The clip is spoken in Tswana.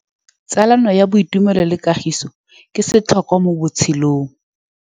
Tsalano ya boitumelo le kagiso ke setlhôkwa mo botshelong.